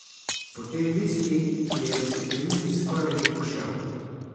Potem viski, ki je v steklenici skoraj že pošel.